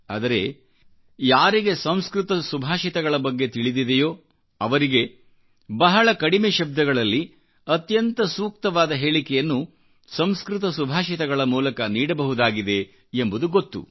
ಆದರೆಯಾರಿಗೆ ಸಂಸ್ಕೃತ ಸುಭಾಷಿತಗಳ ಬಗ್ಗೆ ತಿಳಿದಿದೆಯೋ ಅವರಿಗೆ ಬಹಳ ಕಡಿಮೆ ಶಬ್ದಗಳಲ್ಲಿ ಅತ್ಯಂತ ಸೂಕ್ತವಾದ ಹೇಳಿಕೆಯನ್ನು ಸಂಸ್ಕೃತ ಸುಭಾಷಿತಗಳಮೂಲಕ ನೀಡಬಹುದಾಗಿದೆ ಎಂಬುದು ಗೊತ್ತು